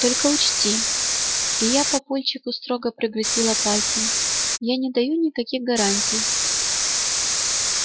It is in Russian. только учти и я папульчику строго погрозила пальцем я не даю никаких гарантий